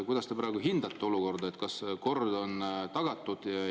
Kuidas te hindate praegu olukorda, kas kord on tagatud?